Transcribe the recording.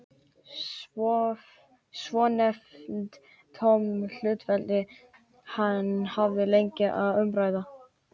Svonefnd tóm hlutafélög hafa lengi verið til umræðu.